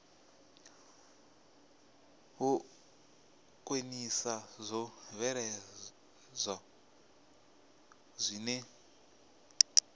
u khwinisa zwo bveledzwaho zwine